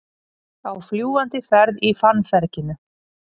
Á fljúgandi ferð í fannferginu